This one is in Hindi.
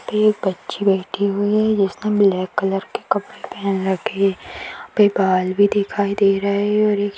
एक बच्ची बैठी हुई है जिसने ब्लॅक कलर के कपड़े पहन रखे है यहा पे बाल भी दिखाई दे रहे है और--